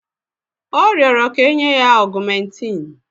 Ọ rịọrọ kà enye ya ọ̀gụ́mèntin